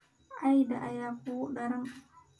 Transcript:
Cayda ayaa ugu daran.